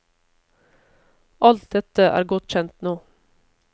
Alt dette er godt kjent nå.